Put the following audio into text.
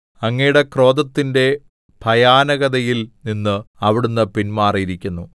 അങ്ങയുടെ ക്രോധത്തിന്റെ ഭയാനകതയിൽ നിന്ന് അവിടുന്ന് പിന്മാറിയിരിക്കുന്നു